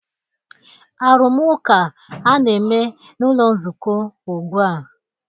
Arụmụka a na-eme n'ụlọ nzukọ ugbu a